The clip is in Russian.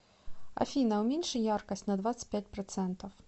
афина уменьши яркость на двадцать пять процентов